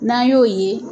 N'an y'o ye